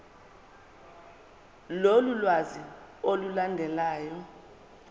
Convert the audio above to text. lolu lwazi olulandelayo